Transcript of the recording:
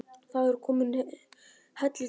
Það er komin hellidemba.